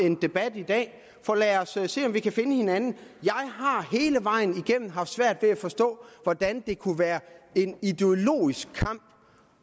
en debat i dag så lad os se om vi kan finde hinanden jeg har hele vejen igennem haft svært ved at forstå hvordan det kunne være en ideologisk kamp